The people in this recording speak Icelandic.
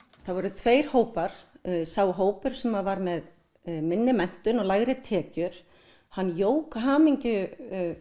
það voru tveir hópar sá hópur sem var með munnu menntun og lægri tekjur hann jók hamingju